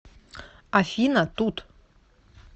афина тут